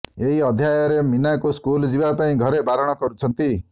ଏହି ଅଧ୍ୟାୟରେ ମୀନାକୁ ସ୍କୁଲ ଯିବା ପାଇଁ ଘରେ ବାରଣ କରୁଛନ୍ତି